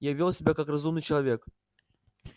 я вёл себя как разумный человек